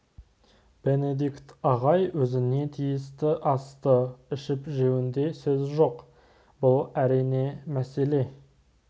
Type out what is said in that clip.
бенедикт ағай өзіне тиісті асты ішіп-жеуінде сөз жоқ бұл әрине түсінікті мәселе